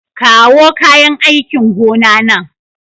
Kawo kayan aikin gona nan.